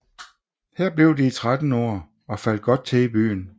Her blev de i 13 år og faldt godt til i byen